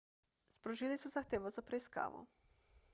sprožili so zahtevo za preiskavo